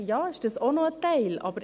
Ja, das mag auch ein Teil sein.